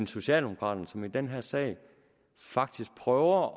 socialdemokraterne som i den her sag faktisk prøver